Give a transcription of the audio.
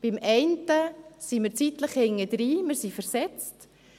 Bei der einen sind wir zeitlich verzögert, wir sind versetzt;